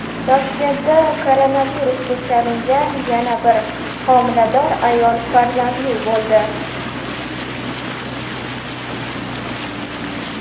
Toshkentda koronavirusga chalingan yana bir homilador ayol farzandli bo‘ldi.